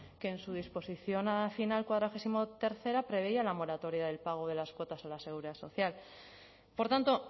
que en su disposición final cuadragésimo tercera preveía la moratoria del pago de las cuotas a la seguridad social por tanto